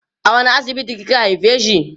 a wani asibiti kika haifeshi